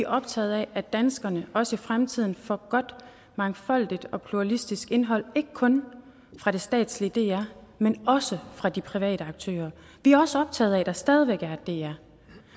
optaget af at danskerne også i fremtiden får godt mangfoldigt og pluralistisk indhold ikke kun fra det statslige dr men også fra de private aktører vi er også optaget af at der stadig væk er et dr